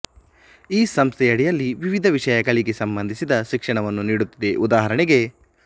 ಈ ಸಂಸ್ಥೆಯಡಿಯಲ್ಲಿ ವಿವಿಧ ವಿಷಯಗಳಿಗೆ ಸಂಬಂಧಿಸಿದ ಶಿಕ್ಷಣವನ್ನು ನೀಡುತ್ತಿದೆ ಉದಾಹರಣೆಗೆ